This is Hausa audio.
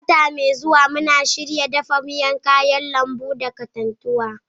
Wata mai zuwa, muna shirin dafa miyan kayan lambu tare da katantanwa.